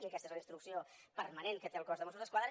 i aquesta és la instrucció permanent que té el cos de mossos d’esquadra